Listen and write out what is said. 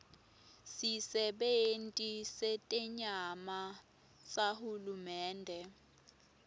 sisebenti setenyama sahulumende